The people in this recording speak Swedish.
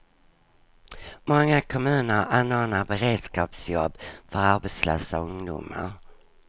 Många kommuner anordnar beredskapsjobb för arbetslösa ungdomar.